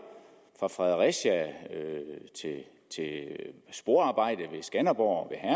fra fredericia til sporarbejde ved skanderborg og